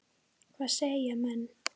Hvað segja menn?